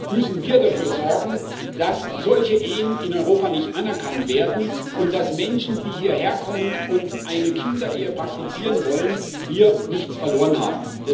Deshalb müssen wir dafür sorgen, dass solche Ehen in Europa nicht anerkannt werden und dass Menschen, die hierher kommen und eine Kinderehe praktizieren wollen, hier nichts verloren haben.